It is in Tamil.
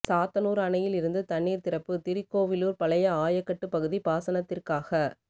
சாத்தனூர் அணையில் இருந்து தண்ணீர் திறப்பு திருக்கோவிலூர் பழைய ஆயக்கட்டு பகுதி பாசனத்திற்காக